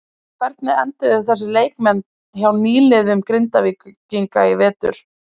En hvernig enduðu þessir leikmenn hjá nýliðum Grindvíkinga í vetur?